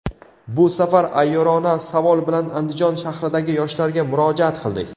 Bu safar ayyorona savol bilan Andijon shahridagi yoshlarga murojaat qildik.